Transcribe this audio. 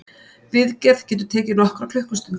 Viðgerð getur tekið nokkrar klukkustundir